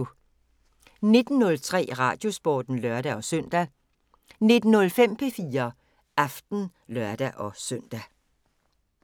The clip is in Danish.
19:03: Radiosporten (lør-søn) 19:05: P4 Aften (lør-søn)